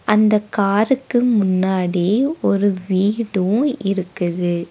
அந்தக் காருக்கு முன்னாடி ஒரு வீடும் இருக்குது.